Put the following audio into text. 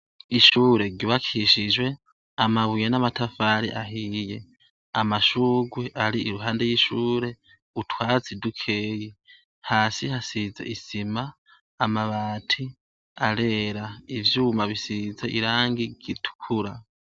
Ishure ryubakishijwe amabuye n'amatafari ahiye, amashurwe ari iruhande y'ishure utwatsi dukeyi, hasi hasize isima, amabati arera, ivyuma bisize irangi ritukura.